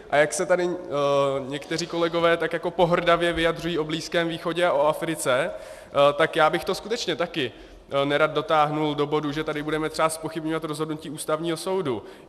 A jak se tady někteří kolegové tak jako pohrdavě vyjadřují o Blízkém východě a o Africe, tak já bych to skutečně taky nerad dotáhl do bodu, že tady budeme třeba zpochybňovat rozhodnutí Ústavního soudu.